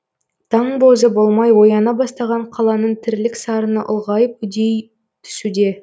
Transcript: таң бозы болмай ояна бастаған қаланың тірлік сарыны ұлғайып үдей түсуде